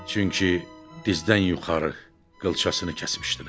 Çünki dizdən yuxarı qılçasını kəsmişdilər.